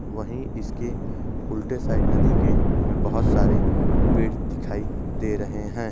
वही इसकी उल्टे साइड नदी के हमे बहुत सारे पेड़ दिखाई दे रहे है।